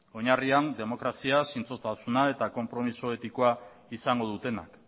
oinarrian demokrazia zintzotasuna eta konpromiso etikoa izango dutenak